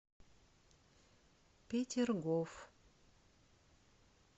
петергоф